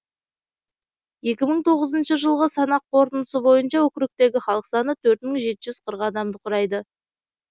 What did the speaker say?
екі мың тоғызыншы жылғы санақ қорытындысы бойынша округтегі халық саны төрт мың жеті жүз қырық адамды құрайды